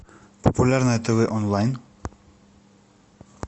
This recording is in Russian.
популярное тв онлайн